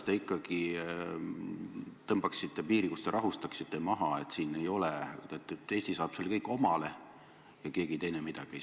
Ilma raha sisse maksmata või mingisuguseid uusi kohustusi võtmata muutub süsteem paindlikumaks selliselt, et see on meile kasulik.